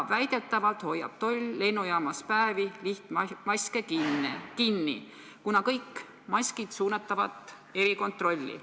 Väidetavalt hoiab toll lennujaamas lihtmaske päevade kaupa kinni, kuna kõik maskid suunatavat erikontrolli.